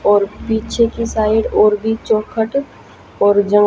और पीछे की साइड और भीं चौखट और ज--